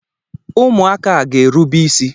Ụmụaka a ga-erube isí.